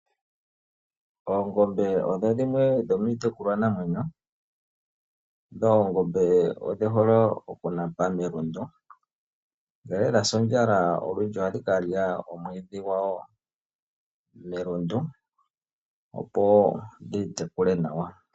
Oongombe odho dhimwe dhomiitekulwanamwenyo. Dho oongombe odhi hole okunapa melundu, ngele dha sa ondjala olundji ohadhi ka lya omwiidhi gwa dho melundu, opo dhi itekule nawa.